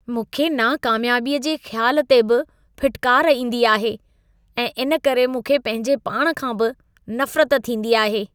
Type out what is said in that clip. मूंखे नाकामयाबीअ जे ख़्याल ते बि फिटकार ईंदी आहे ऐं इन करे मूंखे पंहिंजे पाण खां बि नफ़रत थींदी आहे।